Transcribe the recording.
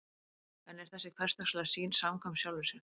en er þessi hversdagslega sýn samkvæm sjálfri sér